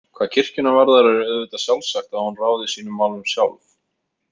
Hvað kirkjuna varðar er auðvitað sjálfsagt að hún ráði sínum málum sjálf.